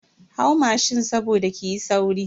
Hau mashin saboda kiyi sauri.